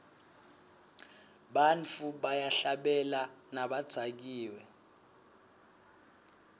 bantfu bayahlabela nabadzakiwe